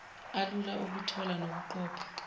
alula okuthola nokuqopha